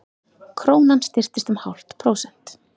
Krónan styrktist um hálft prósent